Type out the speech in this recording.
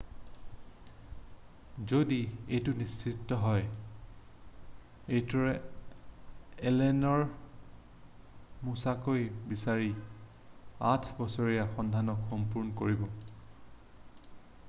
যদি এইটো নিশ্চিত হয় এইটোৱে এলেনৰ মোচাচিক বিচাৰি আঠ বছৰীয়া সন্ধানক সম্পূৰ্ণ কৰিব